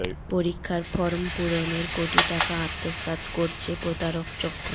পরীক্ষার ফরম পূরণের কোটি টাকা আত্মসাৎ করছে প্রতারক চক্র